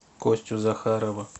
костю захарова